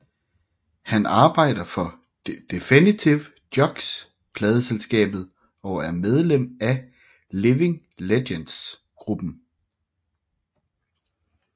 Han arbejder for Definitive Jux pladeselskabet og er medlem af Living Legends gruppen